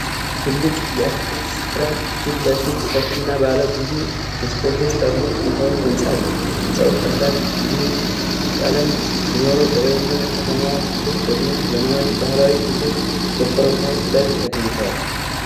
በትልቅ የአትክልት ስፍራ ፊት ለፊት ሰፊና ባለ ብዙ መስኮቶች ያሉት ጥንታዊ ሕንጻ አለ። ሕንፃው ቀላል ቢዩዊ ቀለም ሲኖረው በላይኛው የከተማዋ ክፍል ደግሞ ዘመናዊና ባህላዊ ቤቶች በኮረብታዎች ላይ ተገንብተዋል።